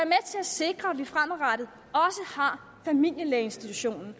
sikre at vi også fremadrettet har familielægeinstitutionen